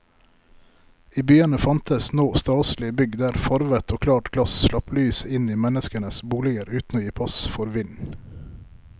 I byene fantes nå staselige bygg der farvet og klart glass slapp lyset inn i menneskenes boliger uten å gi pass for vind.